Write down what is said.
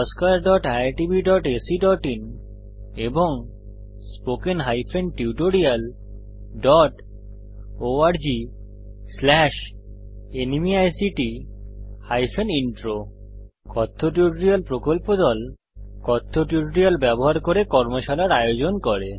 oscariitbacআইএন এবং spoken tutorialorgnmeict intro কথ্য tutorial প্রকল্প দল কথ্য টিউটোরিয়াল ব্যবহার করে কর্মশালার আয়োজন করে